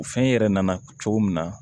Fɛn yɛrɛ nana cogo min na